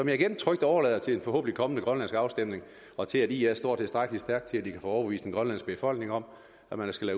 jeg igen trygt overlader til en forhåbentlig kommende grønlandsk afstemning og til at ia står tilstrækkelig stærkt til at de kan få overbevist den grønlandske befolkning om at man skal